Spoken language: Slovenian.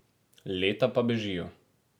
Leta pa bežijo.